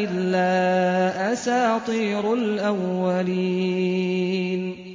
إِلَّا أَسَاطِيرُ الْأَوَّلِينَ